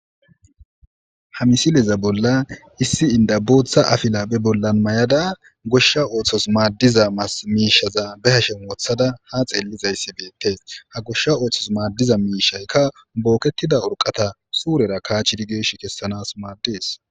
ha misileza bolla issi inda booththa afila be bollan may7ada goshsha ooththos maaddiza miishaza be hashen wothada ha xeellizayssi beette ha goshsha ooththos maaddiza miishaykka bookettida urqata suurera kaachirigeesh kessanas maaddes